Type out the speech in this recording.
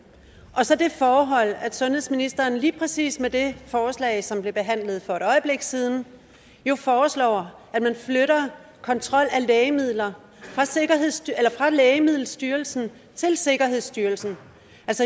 og så det forhold at sundhedsministeren lige præcis med det forslag som blev behandlet for et øjeblik siden jo foreslår at man flytter kontrollen af lægemidler fra lægemiddelstyrelsen til sikkerhedsstyrelsen